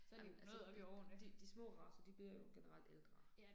Jamen altså de, de de små racer de bliver jo generelt ældre